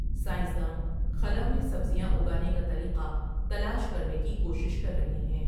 Science داں خلا میں سبزیاں اگانے کا طریقہ تلاش کرنے کی کوشش کر رہےہیں ۔